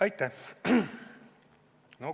Aitäh!